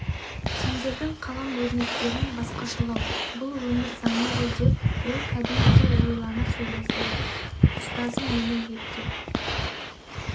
сендердің қалам өрнектерің басқашалау бұл өмір заңы ғой деп ол кәдімгідей ойлана сөйледі ұстазым мені ептеп